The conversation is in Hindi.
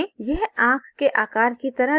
यह आंख के आकार की तरह दिखना चाहिए